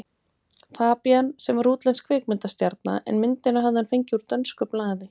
Fabían, sem var útlensk kvikmyndastjarna, en myndina hafði hann fengið úr dönsku blaði.